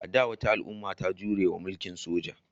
A da, wata al'umma ta jure wa mulkin soja.